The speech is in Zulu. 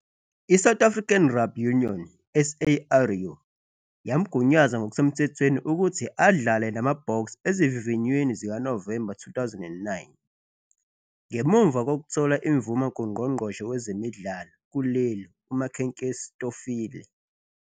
ISouth African Rugby Union, SARU, yamgunyaza ngokusemthethweni ukuthi adlale namaBoks ezivivinyweni zikaNovemba 2009, ngemuva kokuthola imvume kungqongqoshe wezemidlalo kuleli uMakhenkesi Stofile.